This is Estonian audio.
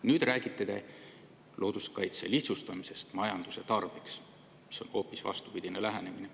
Nüüd te räägite looduskaitse lihtsustamisest majanduse tarbeks, aga see on hoopis vastupidine lähenemine.